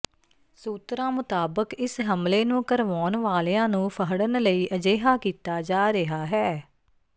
ਸੂਤਰਾਂ ਮੁਤਾਬਕ ਇਸ ਹਮਲੇ ਨੂੰ ਕਰਵਾਉਣ ਵਾਲਿਆਂ ਨੂੰ ਫਡ਼੍ਹਨ ਲਈ ਅਜਿਹਾ ਕੀਤਾ ਜਾ ਰਿਹਾ ਹੈ